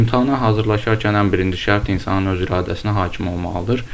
İmtahana hazırlaşarkən ən birinci şərt insanın öz iradəsinə hakim olmalıdır.